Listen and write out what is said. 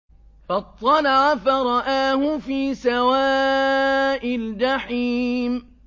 فَاطَّلَعَ فَرَآهُ فِي سَوَاءِ الْجَحِيمِ